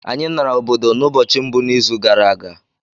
Anyị nara obodo n’ụbọchị mbụ n’izu gara aga